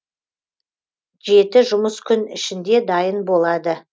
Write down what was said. жеті жұмыс күн ішінде дайын болады